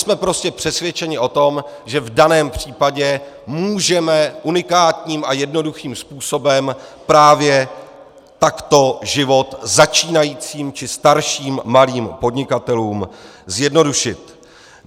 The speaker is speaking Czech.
Jsme prostě přesvědčeni o tom, že v daném případě můžeme unikátním a jednoduchým způsobem právě takto život začínajícím či starším malým podnikatelům zjednodušit.